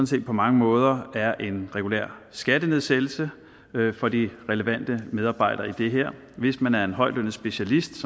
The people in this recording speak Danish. set på mange måder er en regulær skattenedsættelse for de relevante medarbejdere i det her hvis man er en højtlønnet specialist